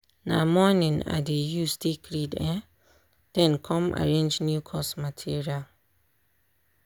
na morning i dey use take read um then come arrange new course material.